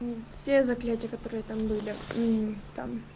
все заклятия которые там были